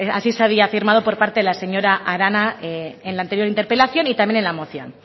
así se había afirmado por parte de la señora arana en la anterior interpelación y también en la moción